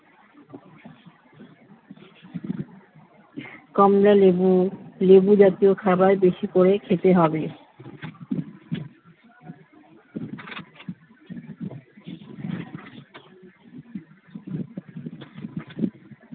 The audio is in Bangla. কমলালেবু লেবু জাতীয় খাবার বেশি করে খেতে হবে